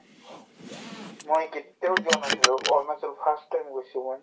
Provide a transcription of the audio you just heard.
মই কেতিয়াও যোৱা নাছিলো অৰুণাচল first time গৈছো মই